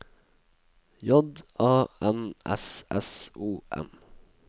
J A N S S O N